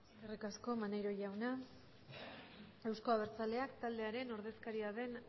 eskerri asko maneiro jauna eusko abertzalea taldearen ordezkariaren